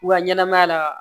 U ka ɲɛnɛmaya la